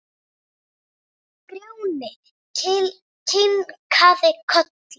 Grjóni kinkar kolli.